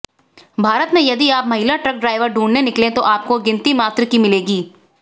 भारत में यदि आप महिला ट्रक ड्राइवर ढुंढने निकलें तो आपको गिनती मात्र की मिलेंगी